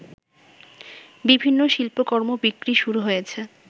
বিভিন্ন শিল্পকর্ম বিক্রি শুরু হয়েছে